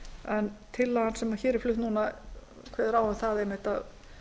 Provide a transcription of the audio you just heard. en tillagan sem hér er flutt núna kveður einmitt á um að